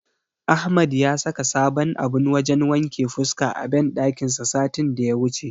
Ahmad ya saka sabon abun wajen wanke fuska a banɗakin sa satin daya wuce.